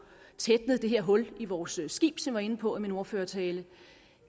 tætnet det her hul i vores skib som jeg var inde på i min ordførertale